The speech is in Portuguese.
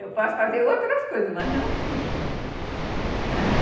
Eu posso fazer outras coisas, mas não tudo também, ãh